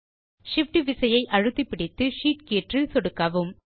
Shift விசையை அழுத்தி பிடித்து ஷீட் கீற்றில் சொடுக்கவும்